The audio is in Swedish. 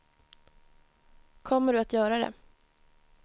Kommer du att göra det?